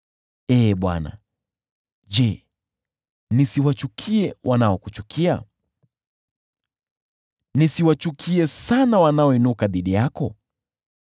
Ee Bwana , je, nisiwachukie wanaokuchukia? Nisiwachukie sana wanaoinuka dhidi yako?